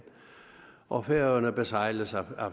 og færøerne besejles af